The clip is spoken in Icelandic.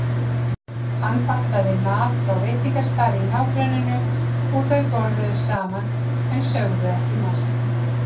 Hann pantaði mat frá veitingastað í nágrenninu og þau borðuðu saman en sögðu ekki margt.